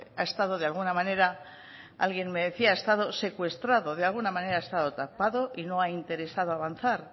ha estado de alguna manera alguien me decía ha estado secuestrado de alguna manera ha estado tapado y no ha interesado avanzar